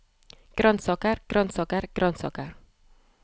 grønnsaker grønnsaker grønnsaker